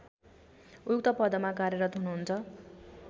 उक्त पदमा कार्यरत हुनुहुन्छ